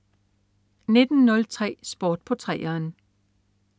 19.03 Sport på 3'eren